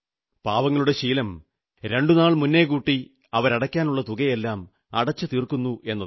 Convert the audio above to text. പാവങ്ങളുടെ ശീലം രണ്ടു നാൾ മുന്നേകൂട്ടി അവരടയ്ക്കാനുള്ള തുകയെല്ലാം അടച്ചു തീർക്കുന്നതാണ്